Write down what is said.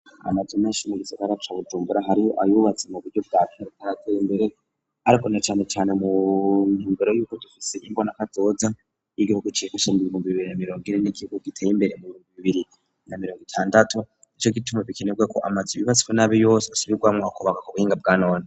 Amaze menshi mu gisagara cabujumbura hariho ayubatse mu buryo bwa katateye imbere, ariko na canecane mu ntumbero yuko dufise yimbona ko azoza y'igiho guciyekashamgurmg bibiri na mirongire n'ikihugo giteye imbere mu bingu bibiri nga mirongo itandatu ni co gituma bikenebwe ko amaze ibibatswe n'abi yose asubirwamwo wakubaka ku buhinga bwa none.